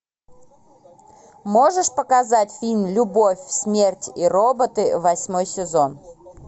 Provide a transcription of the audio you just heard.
можешь показать фильм любовь смерть и роботы восьмой сезон